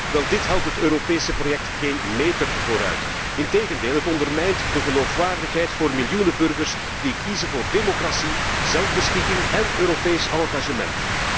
Wel, dit helpt het Europese project geen meter vooruit, integendeel, het ondermijnt de geloofwaardigheid voor miljoenen burgers die kiezen voor democratie, zelfbeschikking en Europees engagement.